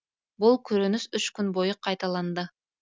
бұл көрініс үш күн бойы қайталанды